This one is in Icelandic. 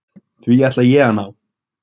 Því ætla ég að ná.